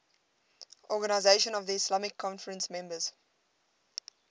organisation of the islamic conference members